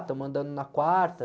Estamos andando na quarta.